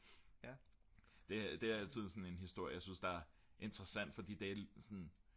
det er altid sådan en historie jeg synes der er interessant fordi det er sådan